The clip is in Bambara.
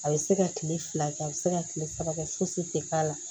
A bɛ se ka kile fila kɛ a bɛ se ka kile saba kɛ fosi tɛ k'a la